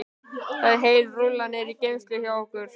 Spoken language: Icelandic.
Það er heil rúlla niðri í geymslu hjá okkur, já.